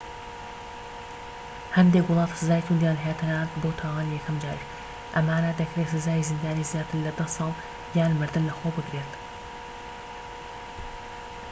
هەندێک وڵات سزای تووندیان هەیە تەنانەت بۆ تاوانی یەکەم جاریش ئەمانە دەکرێت سزای زیندانی زیاتر لە 10 ساڵ یان مردن لەخۆ بگرێت